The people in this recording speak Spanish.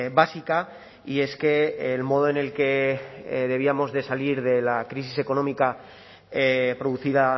básica y es que el modo en el que debíamos de salir de la crisis económica producida